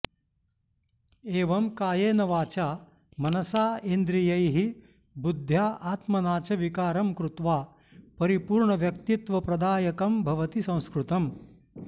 एवं कायेन वाचा मनसा इन्द्रियैः बुदध्या आत्मना च विकारं कृत्वा परिपूर्णव्यक्तित्वप्रदायकं भवति संस्कृतम्